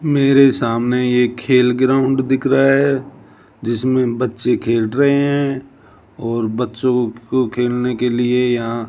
मेरे सामने ये खेल ग्राउंड दिख रहा है जिसमें बच्चे खेल रहे हैं और बच्चों को खेलने के लिए यहां--